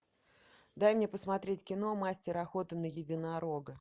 дай мне посмотреть кино мастер охоты на единорога